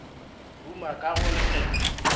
ruma ka go re kgetho